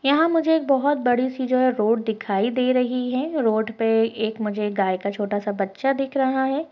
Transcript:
यहाँ मुझे बहुत बड़ी सी जो है रोड दिखाई दे रही है रोड पे एक मुझे एक गाय का छोटा सा बच्चा दिख रहा है।